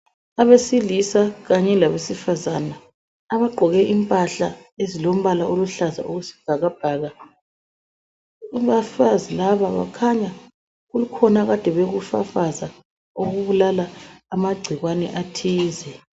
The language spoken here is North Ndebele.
Abesilisa kanye labesifazana abagqoke impahla ezilombala oluhlaza okwesibhakabhaka, abafazi laba bakhanya kukhona akade bekufafaza okubulala amagcikwane athize.